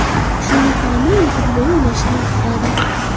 Shunga qaramay, u futbol o‘ynashni yoqtiradi.